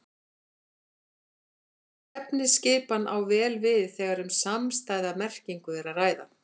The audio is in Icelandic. Slík efnisskipan á vel við þegar um samstæða merkingu er að ræða.